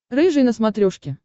рыжий на смотрешке